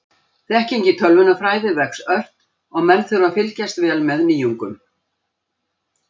Þekking í tölvunarfræði vex ört og menn þurfa að fylgjast vel með nýjungum.